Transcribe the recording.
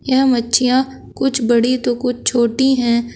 यह मच्छियां कुछ बड़ी तो कुछ छोटी है।